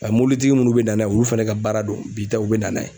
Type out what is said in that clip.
mɔbilitigi munnu bɛ na n'a ye olu fɛnɛ ka baara do bi tɛ u bɛ na n'a ye.